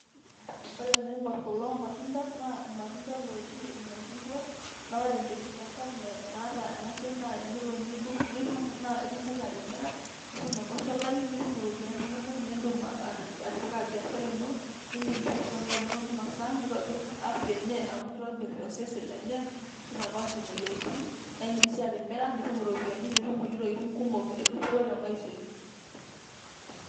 Ore tenaing'orr kulo matunda naa ilmatunda ooji ilmashungwa, naa ore enkipirta sapuk naata enasiai naa tenelo nitum naa itumoki atimira nitum enkosholai nitum iropiyiani inonok, naa indim atipika biashara ino nindim sii aishoo nkera inonok meinosa neitobirr afya enye amu keitobirr osesen lenye neitapaash imoyiaritin naa indim sii atimira nitum iropiyiani nitum kulie tokitin edupoto temaisha ino.